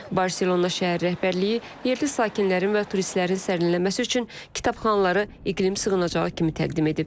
Barselona şəhər rəhbərliyi yerli sakinlərin və turistlərin sərinləməsi üçün kitabxanaları iqlim sığınacağı kimi təqdim edib.